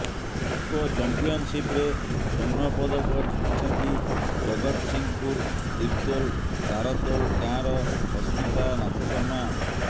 ଖୋଖୋ ଚାମ୍ପିଅନସିପରେ ସ୍ୱର୍ଣ୍ଣ ପଦକ ଜିତିଛନ୍ତି ଜଗତସିଂହପୁର ତିର୍ତ୍ତୋଲ ତାରତୋଲ ଗାଁର ସସ୍ମିତା ନାଥଶର୍ମା